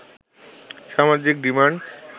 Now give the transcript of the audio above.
সামাজিক ডিমান্ড